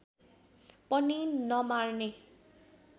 पनि नमार्ने